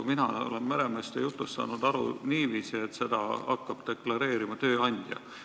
Mina olen meremeeste jutust saanud aru niiviisi, et seda hakkab deklareerima tööandja.